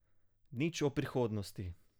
Nič o prihodnosti.